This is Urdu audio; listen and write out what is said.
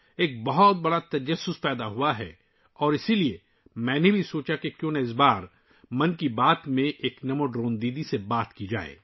ایک بڑا تجسس پیدا ہوا اور اسی لیے میں نے یہ بھی سوچا کہ اس بار 'من کی بات' میں کیوں نہ کسی نمو ڈرون دیدی سے بات کی جائے